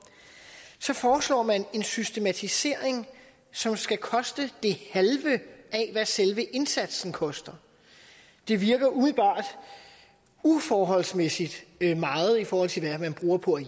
så foreslår man en systematisering som skal koste det halve af hvad selve indsatsen koster det virker umiddelbart uforholdsmæssigt meget i forhold til hvad man bruger på at